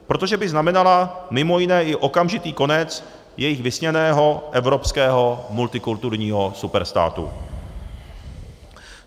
Protože by znamenala mimo jiné i okamžitý konec jejich vysněného evropského multikulturního superstátu.